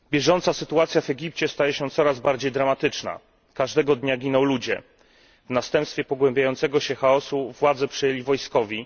Panie Przewodniczący! Bieżąca sytuacja w Egipcie staje się coraz bardziej dramatyczna. Każdego dnia giną ludzie. W następstwie pogłębiającego się chaosu władze przejęli wojskowi.